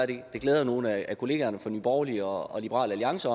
det glæder nogle af kollegaerne fra nye borgerlige og liberal alliance